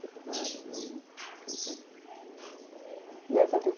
Tem vários aí. E essa